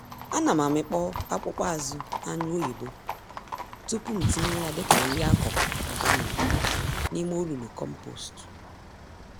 Ánám amịkpọ akpụkpọ-azụ anyụ oyibo tupu ntinye ya dịka nri-akụkụ ọganik n'ime olulu kompost